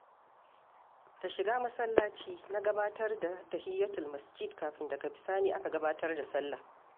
Da shiga masallaci na gabatar da tahiyatul masjidi, kafin daga bisani aka gabatar da salla.